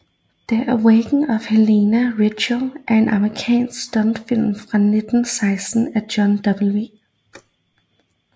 The Awakening of Helena Richie er en amerikansk stumfilm fra 1916 af John W